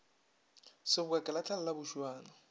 seboka ke lahlela la bošuana